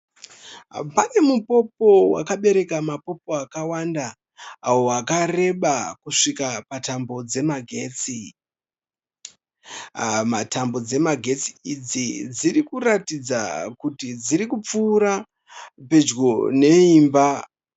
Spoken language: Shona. Pane mupopo wakabereka mapopo akawanda wakareba kusvika tambo dzemagetsi. Tambo dzemagetsi idzi dzirikuratidza kuti dziri kupfuura pedyo neimba.